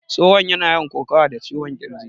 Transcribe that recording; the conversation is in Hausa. Tsohon yana yawan kokawa da ciwon ƙirji